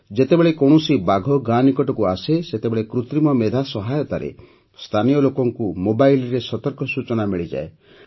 ଯେତେବେଳେ କୌଣସି ବାଘ ଗାଁ ନିକଟକୁ ଆସେ ସେତେବେଳେ କୃତ୍ରିମ ମେଧା ସହାୟତାରେ ସ୍ଥାନୀୟ ଲୋକଙ୍କୁ ମୋବାଇଲରେ ସତର୍କ ସୂଚନା ମିଳିଯାଏ